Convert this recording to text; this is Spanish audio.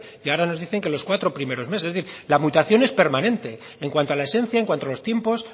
y ahora nos dicen que los cuatro primeros meses es decir la mutación es permanente en cuanto a la esencia en cuanto a los tiempos